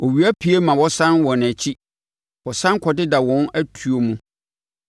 Owia pue ma wɔsane wɔn akyi; wɔsane kɔdeda wɔn atuo mu.